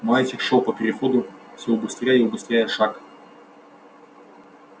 мальчик шёл по переходу всё убыстряя и убыстряя шаг